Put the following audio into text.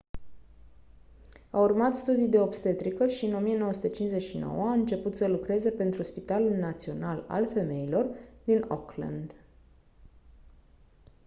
a urmat studii de obstetrică și în 1959 a început să lucreze pentru spitalul național al femeilor din auckland